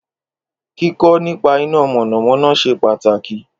Kíkọ́ nípa iná mọ̀nàmọ́ná ṣe pàtàkì